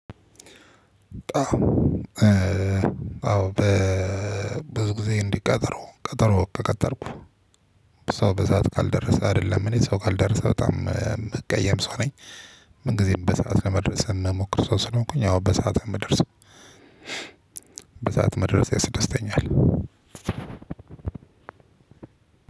አዎ በብዙ ጊዜ እንዲቀጠረው ቀጠሮ ቀጠርኩ ሰው በሰአት ካልደረሰ አይደለም እኔ ሰው ካልደረሰ በጣም የምቀየም ሰው ነኝ። ምን ጊዜም በሰአት ለመድረስ እምሞክር ሰው ስለሆኩኝ አወን በሰአት ነው ምደርሰው። በሰአት መድረስ ያስደስተኛል።